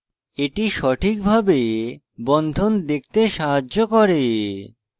এটি সঠিকভাবে bond দেখতে সাহায্য করে